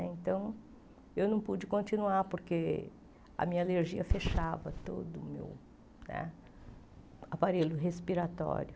Então eu não pude continuar porque a minha alergia fechava todo o né aparelho respiratório.